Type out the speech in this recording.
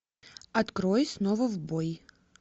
открой снова в бой